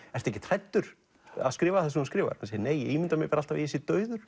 ekkert hræddur að skrifa það sem hann skrifar nei ég ímynda mér bara alltaf að ég sé dauður